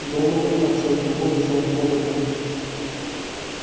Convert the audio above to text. донован подсел к нему и взял под руку